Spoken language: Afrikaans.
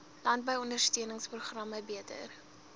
landbou ondersteuningsprogramme beter